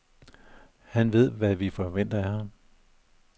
Han ved, hvad vi forventer af ham.